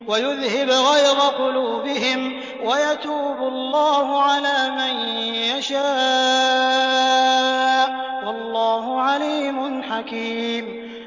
وَيُذْهِبْ غَيْظَ قُلُوبِهِمْ ۗ وَيَتُوبُ اللَّهُ عَلَىٰ مَن يَشَاءُ ۗ وَاللَّهُ عَلِيمٌ حَكِيمٌ